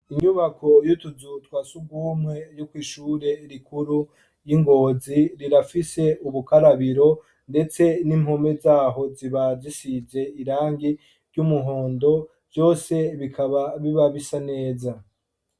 Inyubako y'utuzutwase ugwumwe ryoko ishure rikuru y'ingozi rirafise ubukarabiro, ndetse n'impome zaho zibajisije irangi ry'umuhondo vyose bikaba biba bisa neza.